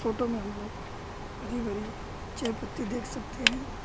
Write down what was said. Photo में हम लोग हरी भरी चाय पत्ती देख सकते हैं।